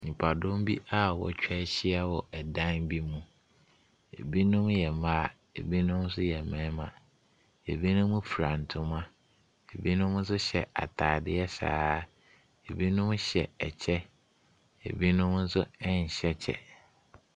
Nipadɔm bi a wɔatwa ahyia wɔ ɛdan bi mu. Binom yɛ mmaa, ɛbinom nso yɛ mmaa. Ɛbinom fira ntoma, ɛbinom nso hyɛ atadeɛ saa. Ɛbinom hyɛ ɛkyɛ, ɛbinom nso nhyɛ kyɛ.